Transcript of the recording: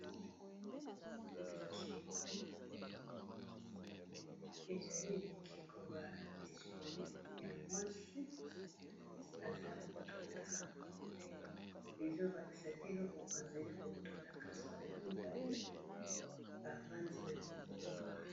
Bikeko, ezali bikeko ba dessine ya mwasi aza ko tuta ezo lakisa te eloko azali ko tuta kasi bazali mibale bafandi na libonga.